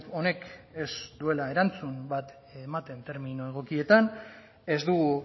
honek ez duela erantzun bat ematen termino egokietan ez dugu